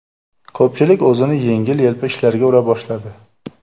Ko‘pchilik o‘zini yengil-yelpi ishlarga ura boshladi.